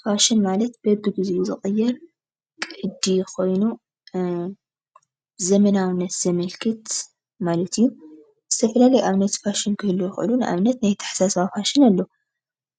ፋሽን ማለት በቢግዚኡ ዝቅየር ቅዲ ኾይኑ ዘመናውነት ዘመልክት ማለት እዩ። ዝተፈላለዩ ኣብነት ፋሽን ክህልዉ ይክእሉ ።ንኣብነት ናይ ኣተሓሳስባ ፋሽን ኣሎ።